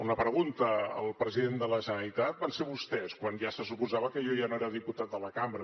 una pregunta al president de la generalitat van ser vostès quan ja se suposava que jo ja no era diputat de la cambra